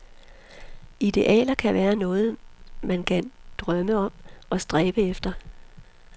Idealer kan være noget, man kan drømme om og stræbe efter.